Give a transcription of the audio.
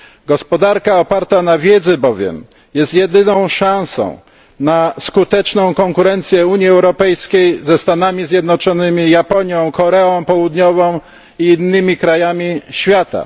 Gospodarka oparta na wiedzy jest bowiem jedyną szansą na skuteczne konkurowanie Unii Europejskiej ze Stanami Zjednoczonymi, Japonią, Koreą Południową i innymi krajami świata.